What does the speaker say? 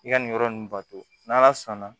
I ka nin yɔrɔ nunnu bato n'ala sɔnna